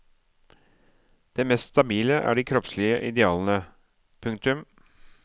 Det mest stabile er de kroppslige idealene. punktum